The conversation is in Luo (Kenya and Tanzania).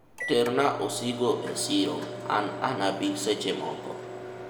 ter na osigo e siro an anabi seche moko